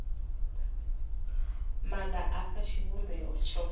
maga a fha tshivhumbeo tsho